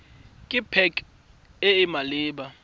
ke pac e e maleba